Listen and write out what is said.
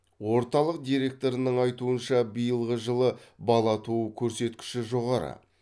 орталық директорының айтуынша биылғы жылы бала туу көрсеткіші жоғары